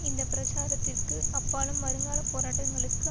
இந்த பிரச்சாரத்திற்கு அப்பாலும் வருங்கால போராட்டங்களுக்கு